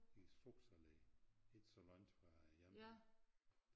I Strucksalle ikke så langt fra æ jernbane